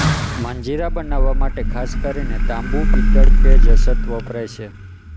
મંજીરા બનાવવા માટે ખાસ કરીને તાંબુ પિત્તળ કે જસત વપરાય છે